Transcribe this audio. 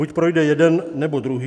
Buď projde jeden, nebo druhý.